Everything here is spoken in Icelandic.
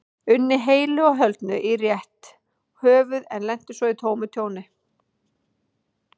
unni heilu og höldnu í rétt höfuð en lenti svo í tómu tjóni.